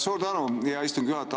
Suur tänu, hea istungi juhataja!